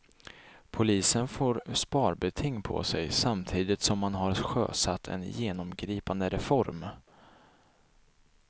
Polisen får sparbeting på sig samtidigt som man har sjösatt en genomgripande reform.